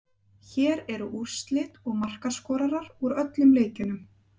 Hér eru úrslit og markaskorarar úr öllum leikjunum: